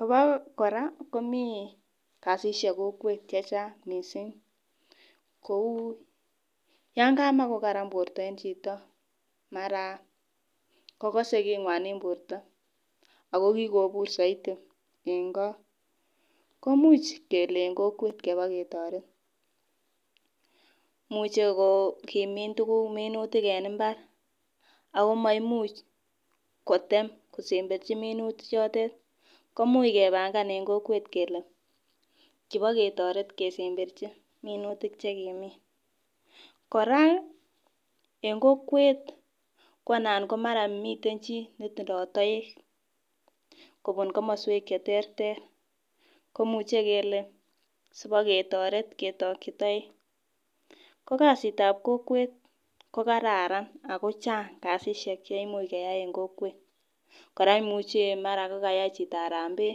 Abo kora komi kasisiek kokwet che chang mising, kou yan kama kokaran borta en chito mara kakose kingwan en borta ako kikobur zaidi eng go, komuch kele eng kokwet keba ketoret, imuchi ko kimin tukuk minutik en imbar ako maimuch kotem kosemberchi minuti chotet, komuch kebangan en kokwet kele kibaketoret kesemberchi minutik che kimin, kora eng kokwet konan mara miten chi netindoi toek kobun komoswek che terter, komuche kele sibaketoret ketokchi toek, ko kasitab kokwet ko kararan ak kochang kasisiek cheimuch keyai eng kokwet, kora imuchi mara kokayai chito harambee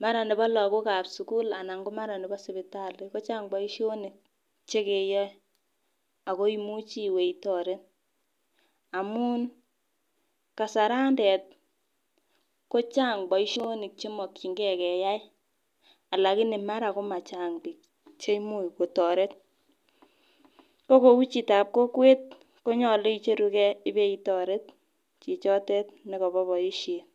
mara nebo lagokab sukul anan ko mara nebo sipitali kochang boisionik che keyoe, akoi imuchi iwe itoret amun, kasarantet ko chang boisionik che mokchinkei keyai alakini mara ko machang piik cheimuch kotoret, ko kou chitab kokwet konyolu icherukei ibeitoret chichotet ne kobo boisiet.